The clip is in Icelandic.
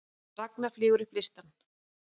Ragna flýgur upp listann